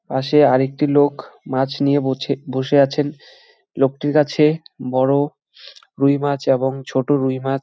পাশে আর একটি লোখ মাছ নিয়ে বছে বসে আছেন লোকটির কাছে বড় রুই মাছ এবং ছোট রুই মাছ--